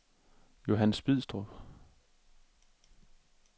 Johannes Bidstrup